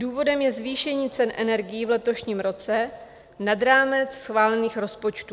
Důvodem je zvýšení cen energií v letošním roce nad rámec schválených rozpočtů.